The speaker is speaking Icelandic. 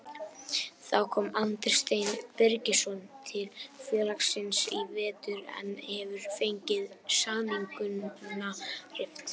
Þá kom Andri Steinn Birgisson til félagsins í vetur en hefur fengið samningnum rift.